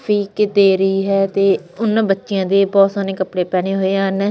ਕੇ ਤੇਰੀ ਹੈ ਤੇ ਉਹਨਾਂ ਬੱਚਿਆਂ ਦੇ ਬਹੁਤ ਸੋਹਣੇ ਕੱਪੜੇ ਪਹਿਣੇ ਹੋਏ ਹਨ।